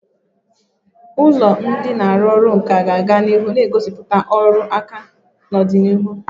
Ụlọ ndị na-arụ ọrụ nka ga-aga na ihu na-egosipụta ọrụ aka na ọdịnihu.